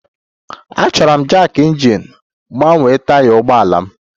Achọrọ m Jack iji gbanwee taya ụgbọ ala m